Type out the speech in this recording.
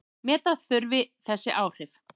Meta þurfi þessi áhrif.